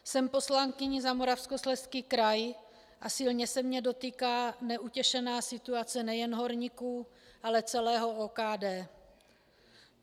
Jsem poslankyní za Moravskoslezský kraj a silně se mě dotýká neutěšená situace nejen horníků, ale celého OKD.